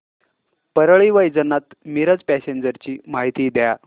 Parli Vaijnath Miraj passenger ची माहिती द्या